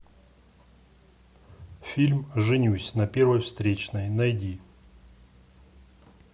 фильм женюсь на первой встречной найди